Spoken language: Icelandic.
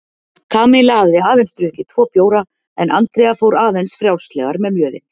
Kamilla hafði aðeins drukkið tvo bjóra en Andrea fór aðeins frjálslegar með mjöðinn.